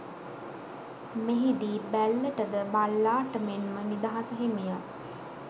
මෙහි දී බැල්ලට ද බල්ලාට මෙන් ම නිදහස හිමි ය